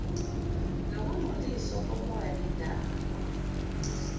nokungcoliswa komoya nendalo